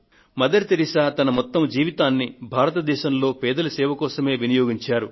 mother Teresa తన యావత్తు జీవితాన్ని భారతదేశంలోని పేదల సేవ కోసం వినియోగించారు